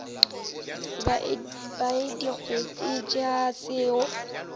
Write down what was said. ba e digetšwe ke komiti